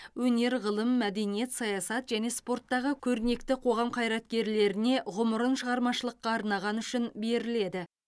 өнер ғылым мәдениет саясат және спорттағы көрнекті қоғам қайраткерлеріне ғұмырын шығармашылыққа арнағаны үшін беріледі